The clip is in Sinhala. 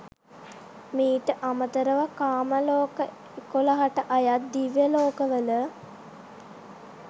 මීට අමතරව, කාම ලෝක 11 ට අයත් දිව්‍ය ලෝකවල